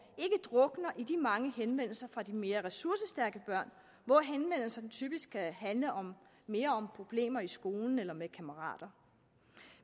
ikke drukner i de mange henvendelser fra de mere ressourcestærke børn hvor henvendelserne typisk kan handle mere om problemer i skolen eller med kammerater